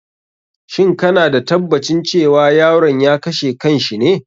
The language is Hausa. Shin kana da tabbacin cewa yaron ya kashe kan shi ne?